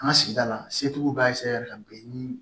An ka sigida la setigiw b'a ka bɛn niii